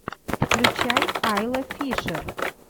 включай айла фишер